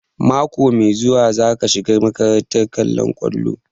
Mako mai zuwa za ka shiga makarantar kollon kwallo?